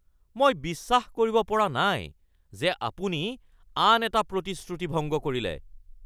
মই বিশ্বাস কৰিব পৰা নাই যে আপুনি আন এটা প্ৰতিশ্ৰুতি ভংগ কৰিলে